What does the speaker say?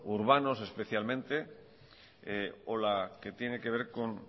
urbanos especialmente o la que tiene que ver con